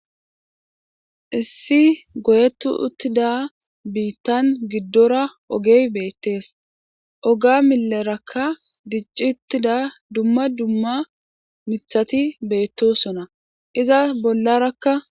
issi goyetu uttida biittan giddora ogey beettees oga milerakka dicci uttida dumma dumma nithati beettosona iza bollarakka